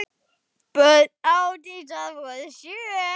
Börn Ásdísar voru sjö.